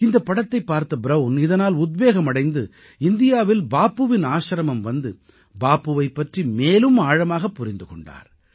இந்தப் படத்தைப் பார்த்த ப்ரவுன் இதனால் உத்வேகம் அடைந்து இந்தியாவில் பாபுவின் ஆசிரமம் வந்து பாபுவைப் பற்றி மேலும் ஆழமாகப் புரிந்து கொண்டார்